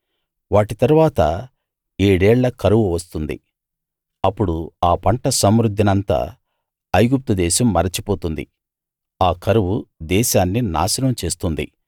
వాటి తరువాత ఏడేళ్ళ కరువు వస్తుంది అప్పుడు ఆ పంట సమృద్ధినంతా ఐగుప్తు దేశం మరచిపోతుంది ఆ కరువు దేశాన్ని నాశనం చేస్తుంది